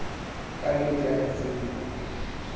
ka nnete ha ke tsebe